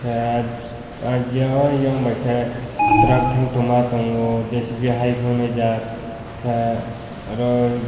ahh jio eio g bai ke trunk tong ma tongo jcb hai honga jaat ka aroi.